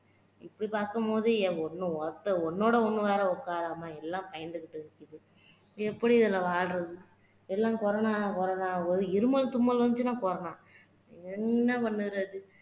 இப்படி பாக்கும் போது ஒண்ணு ஒருத்த ஒண்ணொட ஒண்ணு வேற உக்காரம எல்லாம் பயந்துகிட்டு இருக்குது எப்படி இதுல வாழுறது எல்லாம் corona corona போது இருமல் தும்மல் வந்துக்சுன்னா corona என்ன பண்ணுறது